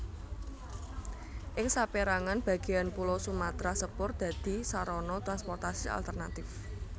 Ing sapérangan bagéan pulo Sumatra sepur dadi sarana transportasi alternatif